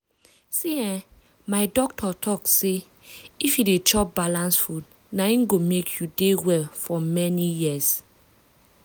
see[um]my doctor talk say if you dey chop balanced food na im go make you dey well for many years.